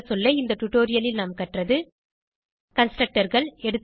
சுருங்கசொல்ல இந்த டுடோரியலில் நாம் கற்றது Constructorகள்